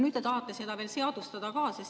Nüüd te tahate seda veel seadustada ka.